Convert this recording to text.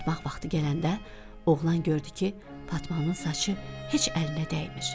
Yatmaq vaxtı gələndə oğlan gördü ki, Fatmanın saçı heç əlinə dəymir.